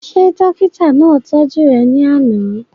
Ṣé dókítà náà tọ́jú rẹ̀ ní àná?